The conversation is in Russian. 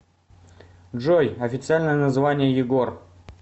джой официальное название егор